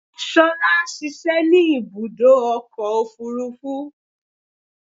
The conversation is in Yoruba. Ṣolá ṣiṣẹ́ ní ibùdó ọkọ̀ òfúrúfú.